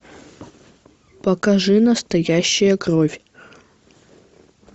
покажи настоящая кровь